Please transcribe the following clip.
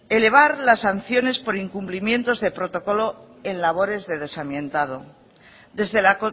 elevar las sanciones por incumplimientos de protocolo en labores de desamiantado desde la